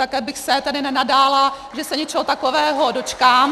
Také bych se tedy nenadála, že se něčeho takového dočkám.